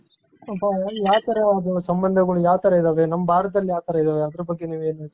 ಯಾವ್ ತರ ಸಂಬಂಧಗಳು ಯಾವ್ ತರ ಇದಾವೆ ನಮ್ ಭಾರತದಲ್ಲಿ ಯಾವ್ ತರ ಇದ್ದಾವೆ ಅದರ ಬಗ್ಗೆ ನೀವ್ ಏನ್ ಹೇಳ್ತೀರ .